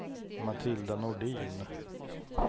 Matilda Nordin